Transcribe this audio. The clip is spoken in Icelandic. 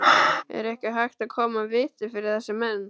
Er ekki hægt að koma viti fyrir þessa menn?